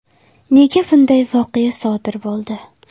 Nega bunday voqea sodir bo‘ldi?